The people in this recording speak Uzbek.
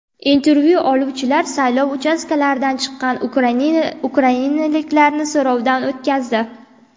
Intervyu oluvchilar saylov uchastkalaridan chiqqan ukrainaliklarni so‘rovdan o‘tkazdi.